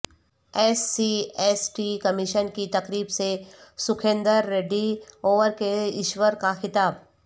S C S T commission کی تقریب سے سکھیندر ریڈی اور کے ایشور کا خطاب